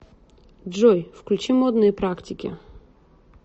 джой включи модные практики